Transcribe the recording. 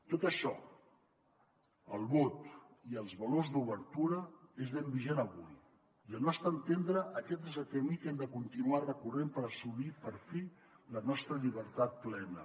tot això el vot i els valors d’obertura és ben vigent avui i al nostre entendre aquest és el camí que hem de continuar recorrent per assolir per fi la nostra llibertat plena